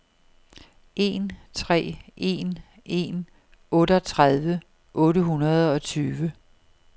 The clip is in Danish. en tre en en otteogtredive otte hundrede og tyve